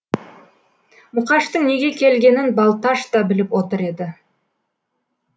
мұқаштың неге келгенін балташ та біліп отыр еді